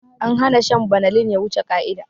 An hana shan banalin ya wuce ƙa'ida